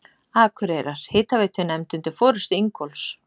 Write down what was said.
Akureyrar hitaveitunefnd undir forystu Ingólfs